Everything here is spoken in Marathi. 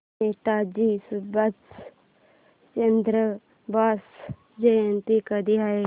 नेताजी सुभाषचंद्र बोस जयंती कधी आहे